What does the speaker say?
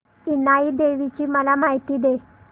इनाई देवीची मला माहिती दे